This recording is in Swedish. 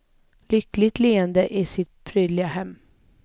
Lyckligt leende i sitt prydliga hem.